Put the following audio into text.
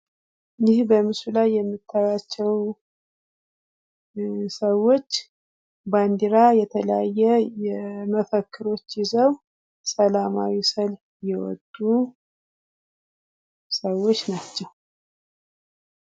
ይህ በምስሉ ላይ የምታዪቸው ሰዎች ባንዲራ የተለያየ የመፈክሮች ይዘው ሰላማዊ ሰልፍ የወጡ ሰዎች ናቸው።